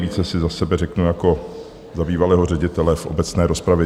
Více si za sebe řeknu jako za bývalého ředitele v obecné rozpravě.